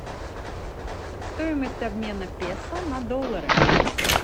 стоимость обмена песо на доллары